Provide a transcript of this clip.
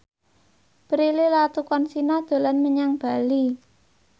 Prilly Latuconsina dolan menyang Bali